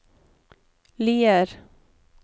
Lier